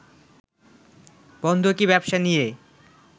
বন্ধকি ব্যবসা নিয়ে